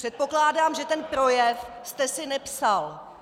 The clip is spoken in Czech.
Předpokládám, že ten projev jste si nepsal.